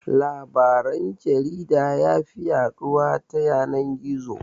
Labaran jarida yafi yaɗuwa ta yanan-gizo.